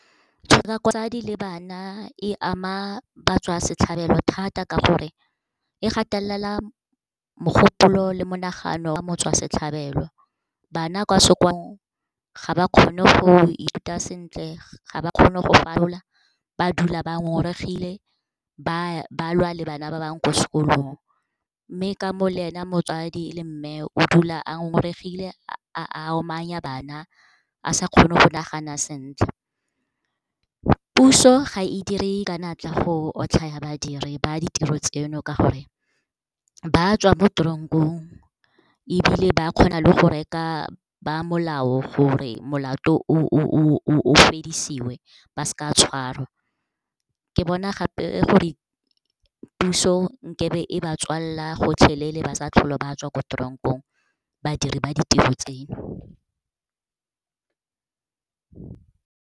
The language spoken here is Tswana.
Tshotlakako ya basadi le bana e ama batswasetlhabelo thata ka gore e gatelela mogopolo le monagano wa motswasetlhabelo. Bana kwa sekolong ga ba kgone go ithuta sentle, ga ba kgone go falola, ba dula ba ngongoregile, ba lwa le bana ba bangwe kwa sekolong. Mme ka mo le ena motswadi, e leng mme, o dula a ngongoregile, a omanya bana, a sa kgone go nagana sentle. Puso ga e dire ka natla go otlhaya badiri ba ditiro tseno, ka gore ba tswa mo tronk-ong, ebile ba kgona le go reka bamolao gore molato o fedisiwe, ba seka ba tshwarwa. Ke bona gape gore puso, nkabe e ba tswalela gotlhelele ba sa tlhole ba tswa kwa tronk-ong, badiri ba ditiro tseno.